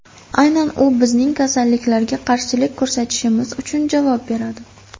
Aynan u bizning kasalliklarga qarshilik ko‘rsatishimiz uchun javob beradi!